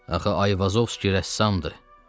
Axı Ayvazovski rəssamdır.